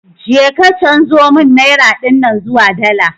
Je ka chanzo mun naira dinnan zuwa dala